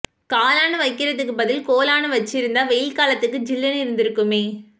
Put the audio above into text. காலான்னு வைக்கிறதுக்கு பதில் கோலான்னு வச்சிருந்தா வெயில் காலத்துக்கு சில்லுன்னு இருந்திருக்குமே